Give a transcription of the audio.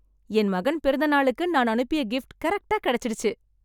என் மகன் பிறந்த நாளுக்கு நான் அனுப்பிய கிப்ட் கரெக்ட்டா கிடைச்சுடுச்சு.